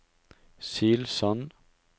Silsand